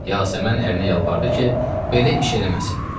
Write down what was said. Yasəmən ərinə yalvardı ki, belə iş eləməsin.